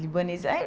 Libanês.